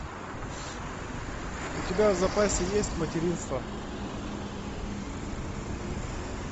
у тебя в запасе есть материнство